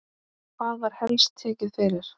Hvað var helst tekið fyrir?